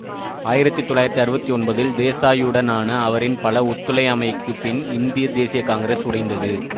ஆயிரத்தி தொள்ளாயிரத்தி அறுபத்தி ஒன்பதில் தேசாயுடனான அவரின் பல ஒத்துழையாமைக்குப் பின் இந்திய தேசிய காங்கிரஸ் உடைந்தது